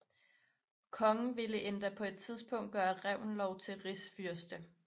Kongen ville endda på et tidspunkt gøre Reventlow til rigsfyrste